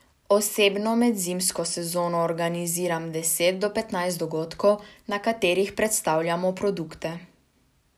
Osebno med zimsko sezono organiziram deset do petnajst dogodkov, na katerih predstavljamo produkte.